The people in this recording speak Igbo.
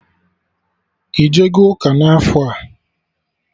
Ijego ụka n'afọ a?